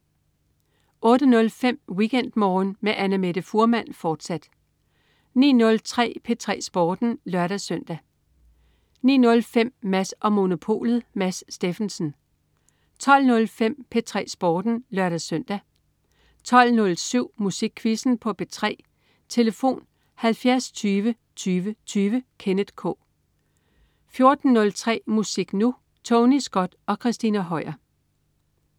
08.05 WeekendMorgen med Annamette Fuhrmann, fortsat 09.03 P3 Sporten (lør-søn) 09.05 Mads & Monopolet. Mads Steffensen 12.05 P3 Sporten (lør-søn) 12.07 Musikquizzen på P3. Tlf.: 70 20 20 20. Kenneth K 14.03 Musik Nu! Tony Scott og Christina Høier